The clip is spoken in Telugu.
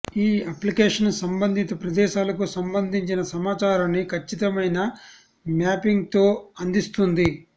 ఈ అప్లికేషన్ సంబంధిత ప్రదేశాలకు సంబంధించిన సమాచారాన్ని ఖచ్చితమైన మ్యాపింగ్తో అందిస్తుంది